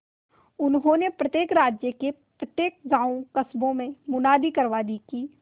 उन्होंने प्रत्येक राज्य के प्रत्येक गांवकस्बों में मुनादी करवा दी कि